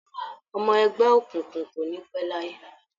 Ọmọ ẹgbẹ́ òkùnkùn kò ní pẹ́ láyé.